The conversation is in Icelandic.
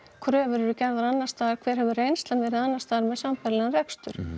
kröfur eru gerðar annarstaðar og hver hefur reynslan verið með sambærilegan rekstur